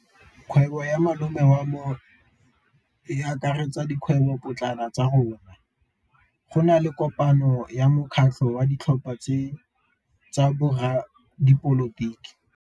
Kgwêbô ya malome wa me e akaretsa dikgwêbôpotlana tsa rona. Go na le kopanô ya mokgatlhô wa ditlhopha tsa boradipolotiki.